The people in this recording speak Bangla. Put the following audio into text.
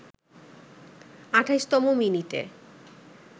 ২৮তম মিনিটে